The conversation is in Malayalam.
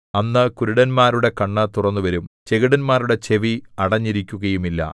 അന്ന് കുരുടന്മാരുടെ കണ്ണ് തുറന്നുവരും ചെകിടന്മാരുടെ ചെവി അടഞ്ഞിരിക്കുകയുമില്ല